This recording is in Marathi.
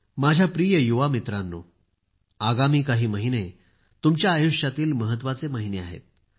माझ्या प्रिय मित्रांनो आगामी काही महिने तुमच्या आयुष्यातील महत्वाचे महिने आहेत